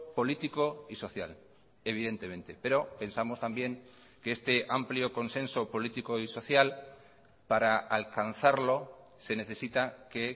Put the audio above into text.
político y social evidentemente pero pensamos también que este amplio consenso político y social para alcanzarlo se necesita que